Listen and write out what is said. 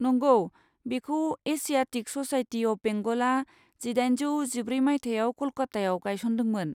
नंगौ, बेखौ Asiatic Society of बेंगलआ जिदाइनजौ जिब्रै मायथाइयाव क'लकातायाव गायसनदोंमोन।